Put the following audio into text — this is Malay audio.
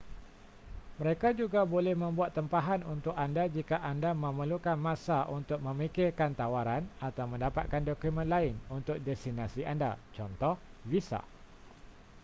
mereka juga boleh membuat tempahan untuk anda jika anda memerlukan masa untuk memikirkan tawaran atau mendapatkan dokumen lain untuk destinasi anda cth. visa